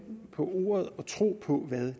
på ordet og tro på hvad